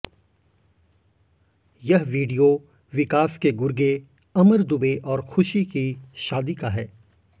यह वीडियो विकास के गुर्गे अमर दुबे और खुशी की शादी का है